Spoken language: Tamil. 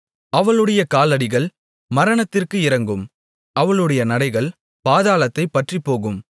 அவளுடைய காலடிகள் மரணத்திற்கு இறங்கும் அவளுடைய நடைகள் பாதாளத்தைப் பற்றிப்போகும்